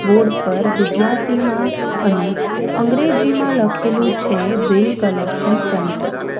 Board પર ગુજરાતીમાં અને અંગ્રેજીમાં લખેલું છે બિલ કલેક્શન સેન્ટર .